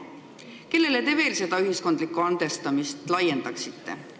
Kellele te veel seda ühiskondlikku andestamist laiendaksite?